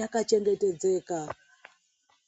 yakachengetedzeka.